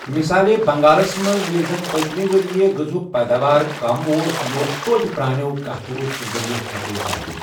مِثالے بنگالس منز ییلہِ زن پتِمہِ وریہہ غزاہُك پیداوار كم اوس ،یِہِ اوس توتِہ پر٘انیو قحتہٕ رو٘س ورِیو كھوتہٕ زیادٕ ۔